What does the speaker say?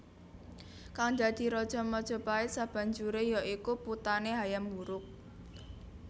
Kang dadi raja Majapahit sabanjure ya iku putane Hayam Wuruk